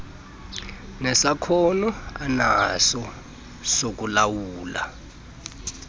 nesakhono anaso sokulawula